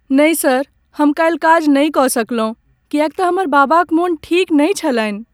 नहि सर, हम काल्हि काज नहि कऽ सकलहुँ किएक तँ हमर बाबा क मोन ठीक नहि छलनि ।